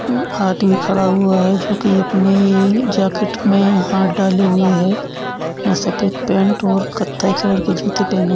म आदमी खड़ा हुआ है जो की अपने जैकेट मे हाथ डाले हुए है सफेद पेंट और कत्थई कलर के जूते पहने --